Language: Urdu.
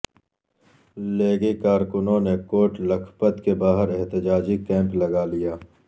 لیگی کارکنوں نے کوٹ لکھپت کے باہر احتجاجی کیمپ لگا لیا